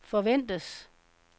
forventes